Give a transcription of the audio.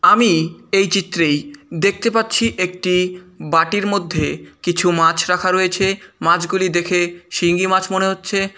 আমি এই চিত্রেই দেখতে পাচ্ছি একটি বাটির মধ্যে কিছু মাছ রাখা রয়েছে মাছগুলি দেখে শিঙি মাছ মনে হচ্ছে।